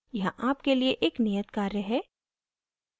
यहाँ आपके लिए एक नियत कार्य है